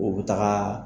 U bɛ taga